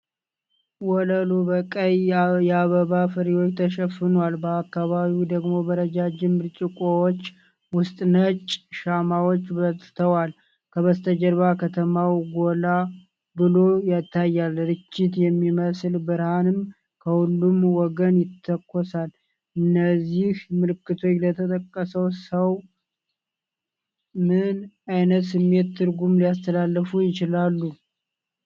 ወለሉ በቀይ የአበባ ፍሬዎች ተሸፍኗል፤ በአካባቢው ደግሞ በረዣዥም ብርጭቆዎች ውስጥ ነጭ ሻማዎች በርተዋል። ከበስተጀርባ ከተማው ጎላ ብሎ ይታያል፤ ርችት የሚመስል ብርሃንም ከሁለቱም ወገን ይተኮሳል። እነዚህ ምልክቶች ለተጠየቀው ሰው ምን ዓይነት ስሜታዊ ትርጉም ሊያስተላልፉ ይችላሉ?